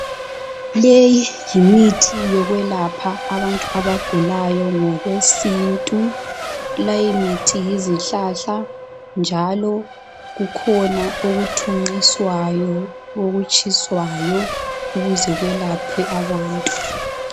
Leyi yimithi yokwelapha abantu abagulayo ngokwesintu. Leyimithi yisihlahla njalo kukhona okuthunqiswayo, okutshiswayo ukuze kwelaphe abantu.